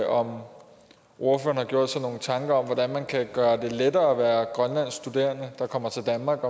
om ordføreren har gjort sig nogle tanker om hvordan man kan gøre det lettere at være grønlandsk studerende der kommer til danmark